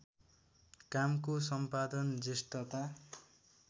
कामको सम्पादन जेष्ठता